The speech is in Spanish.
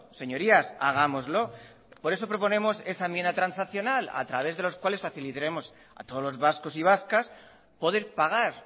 señorías hagámoslo por eso proponemos esa enmienda transaccional a través de los cuales facilitaremos a todos los vascos y vascas poder pagar